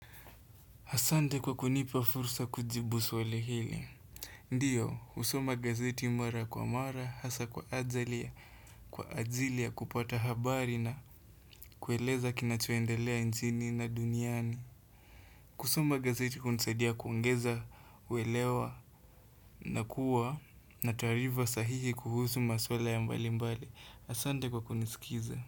Asante kwa kunipa fursa kujibu swali hili. Ndiyo, husoma gazeti mara kwa mara, hasa kwa ajili ya kupata habari na kueleza kinachoendelea nchini na duniani. Kusoma gazeti hunisadia kuongeza, kuelewa na kuwa na taarifa sahihi kuhusu maswala ya mbali mbali. Asante kwa kunisikiza.